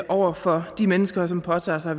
over for de mennesker som påtager sig